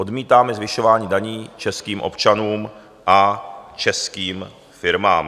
Odmítáme zvyšování daní českým občanům a českým firmám.